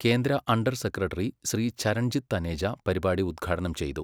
കേന്ദ്ര under secretary Shri Charanjit Taneja പരിപാടി ഉദഘാടനം ചെയ്തു.